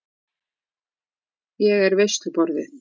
Ég er veisluborðið.